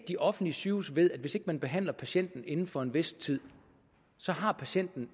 de offentlige sygehuse ved at hvis ikke man behandler patienten inden for en vis tid har patienten